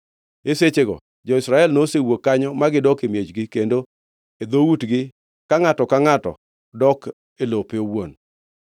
E sechego jo-Israel nowuok kanyo ma gidok e miechgi kendo e dhoutgi ka ngʼato ka ngʼato dok e lope owuon.